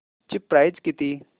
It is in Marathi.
ची प्राइस किती